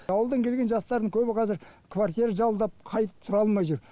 ауылдан келген жастардың көбі қазір квартира жалдап қайтып тұра алмай жүр